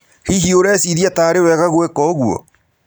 Hihi ũrecĩrĩa tarĩ wega gwĩka ũgũo?